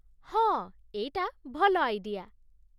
ହଁ, ଏଇଟା ଭଲ ଆଇଡିଆ ।